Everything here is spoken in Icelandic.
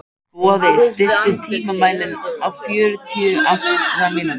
Boði, stilltu tímamælinn á fjörutíu og átta mínútur.